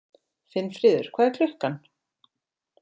Finnfríður, hvað er klukkan?